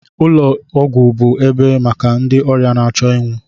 ụlọ ọgwụ bụ ebe maka ndị ọrịa na-achọ ịnwụ